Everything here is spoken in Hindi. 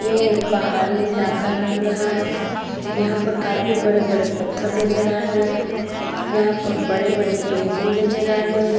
ये एक पहाड़ी इलाका लग रहा है। यहाँ पर काफी बड़े-बड़े पत्थर नज़र आ रहे हैं। यहाँ पर बड़े-बड़े पेड़ भी नज़र आ रहे हैं।